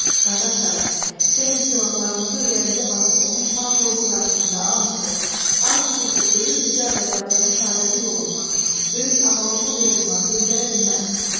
Qardaşlarım, gəlin silahlarımızı ürəyimizə basıb onun pak ruhu qarşısında an içək, an içək ki, ölüm bizi Azərbaycanın səadəti yolundan, böyük amalımız yolundan döndərə bilməz.